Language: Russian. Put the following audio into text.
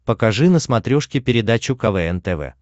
покажи на смотрешке передачу квн тв